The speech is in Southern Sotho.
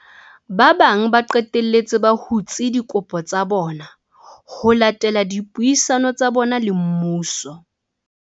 Ba bang ba qetelletse ba hutse dikopo tsa bona ho latela dipuisano tsa bona le mmuso.